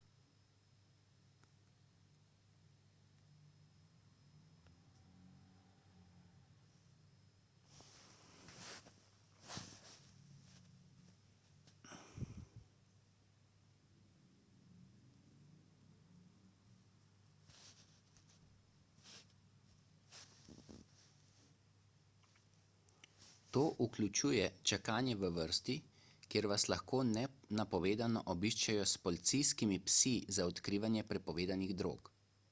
to vključuje čakanje v vrsti kjer vas lahko nenapovedano obiščejo s policijskimi psi za odkrivanje prepovedanih drog